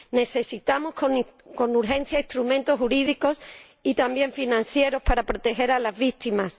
Necesitamos con urgencia instrumentos jurídicos y también financieros para proteger a las víctimas.